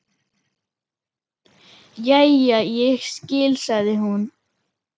Jæja, ég skil, sagði hún.